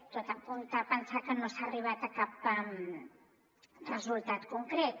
tot apunta a pensar que no s’ha arribat a cap resultat concret